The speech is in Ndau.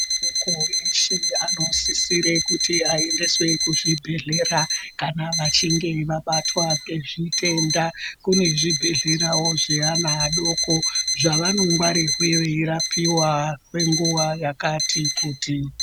Ana adoko eshe anosisire kuende kuzvibhedhleya, kana vachinge vabatwa ngezvitenda. Kune zvibhedhlerawo zveana adoko, zvavanongwarirwa veirapiwa kwenguva yakati kuti.